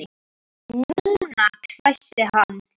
NÚNA! hvæsti hann.